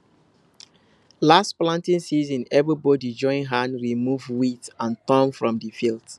last planting season everybody join hand remove weed and thorn from the field